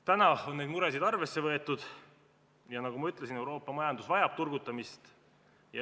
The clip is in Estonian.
Täna on neid muresid arvesse võetud ja nagu ma ütlesin, Euroopa majandus vajab turgutamist.